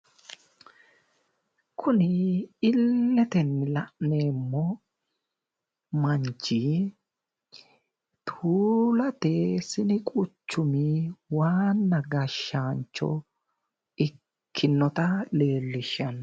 kuni illetenni la'neemmo manchi tuulate sinu quchumi waanna gashshaancho ikinoha leellishshanno